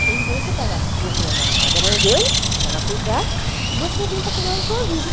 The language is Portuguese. O jeito que deu, você pega as crianças, leva na casa da mãe dele, para ela cuidar, e você vem para cuidar da sua vida.